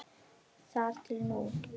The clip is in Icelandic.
Þar til núna.